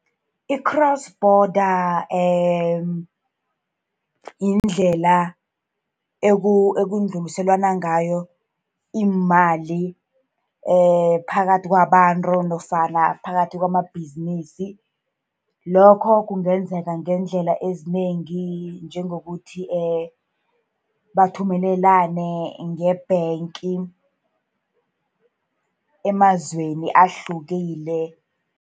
I-cross border yindlela ekudluliselwana ngayo iimali phakathi kwabantu, nofana phakathi kwamabhizinisi. Lokho kungenzeka ngeendlela ezinengi, njengokuthi bathumelelane nge-bank emazweni ahlukile.